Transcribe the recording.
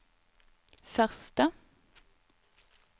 første